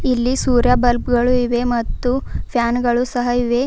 ಇಲ್ಲಿ ಸೂರ್ಯ ಬಲ್ಬ್ ಗಳು ಇವೆ ಮತ್ತು ಫ್ಯಾನ್ ಗಳು ಸಹ ಇದೆ.